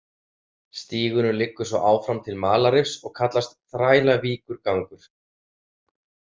Stígurinn liggur svo áfram til Malarrifs og kallast, Þrælavíkurgangur.